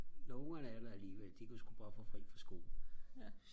når ungerne er der alligevel de kunne sku godt få fri for skole